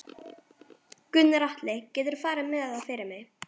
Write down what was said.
Gunnar Atli: Geturðu farið með það fyrir mig?